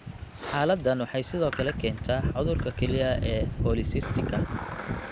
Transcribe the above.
Xaaladdan waxay sidoo kale keentaa cudurka kelyaha ee polycysticka